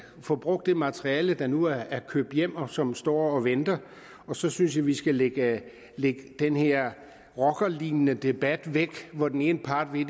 får brugt det materiale der nu er købt hjem og som står og venter og så synes jeg at vi skal lægge den her rockerlignende debat væk hvor den ene part vil